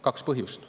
Kaks põhjust.